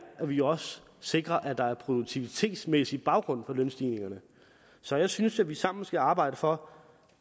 at vi også sikrer at der er produktivitetsmæssig baggrund for lønstigningerne så jeg synes at vi sammen skal arbejde for